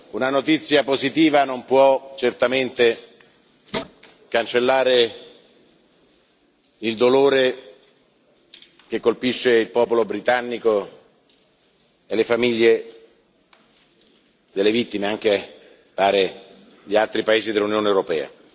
Una notizia positiva non può certamente cancellare il dolore che colpisce il popolo britannico e le famiglie delle vittime anche, pare, di altri paesi dell'Unione europea.